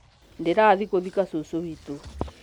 ndĩrathiĩ gũthika cũcũ witũ